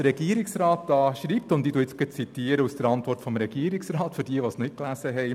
Der Regierungsrat schreibt – ich zitiere für jene, die den Text nicht gelesen habe: